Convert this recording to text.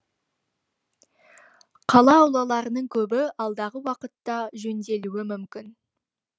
қала аулаларының көбі алдағы уақытта жөнделуі мүмкін